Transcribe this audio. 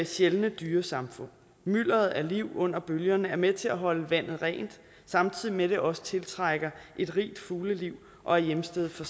sjældne dyresamfund mylderet af liv under bølgerne er med til at holde vandet rent samtidig med at det også tiltrækker et rigt fugleliv og er hjemsted for